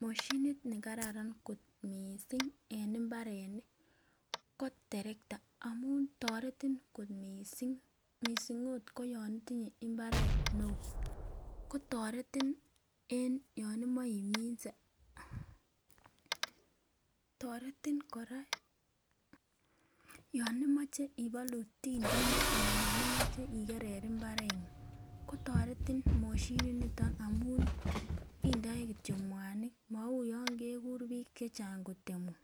Moshinit nekararan kot missing en imbarenik ko terekta amun toretin kot missing missing ot koyon itinyee imbaret neo kotoretin yon imoi iminse. Toretin koraa yon imoche ibolu tindinyek anan yon imoche okerer imbarenguny kotoreti moshinit niton amun indoi kityok muanik mou yon kekur bik chechang kotemun,